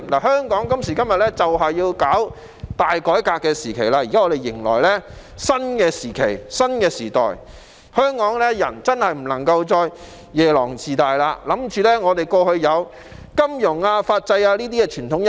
香港今時今日就是要進行大改革，現時迎來的是新時期、新時代，香港人真的不能再夜郎自大，恃着香港過去有金融、法制等傳統優勢。